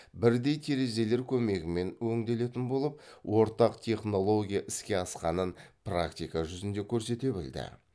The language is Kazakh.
бірдей терезелер көмегімен өңделетін болып ортақ технология іске асқанын практика жүзінде көрсете білді